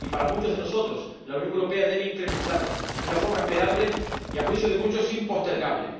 Para muchos de nosotros, la Unión Europea debe incrementarlo de una forma esperable y, a juicio de muchos, impostergable.